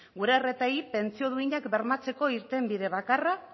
gure pentsio duinak bermatzeko irtenbide bakarra